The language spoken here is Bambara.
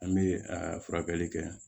An bɛ a furakɛli kɛ